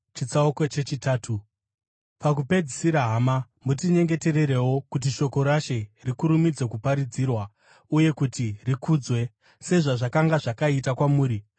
Pakupedzisira, hama, mutinyengetererewo kuti shoko raShe rikurumidze kuparadzirwa uye kuti rikudzwe, sezvazvakanga zvakaita kwamuri.